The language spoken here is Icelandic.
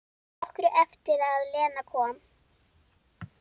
Nokkru eftir að Lena kom.